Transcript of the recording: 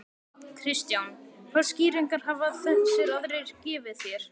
Kristján: Hvaða skýringar hafa þessir aðrir gefið þér?